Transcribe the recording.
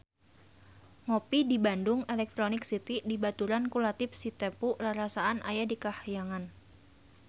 Ngopi di Bandung Electronic City dibaturan ku Latief Sitepu rarasaan aya di kahyangan